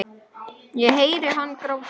Ég heyri hann gráta.